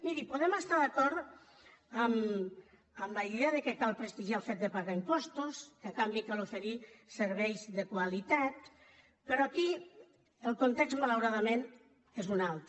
miri podem estar d’acord amb la idea que cal prestigiar el fet de pagar impostos que a canvi cal oferir serveis de qualitat però aquí el context malauradament és un altre